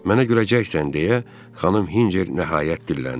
Mənə güləcəksən deyə Xanım Hinçer nəhayət dilləndi.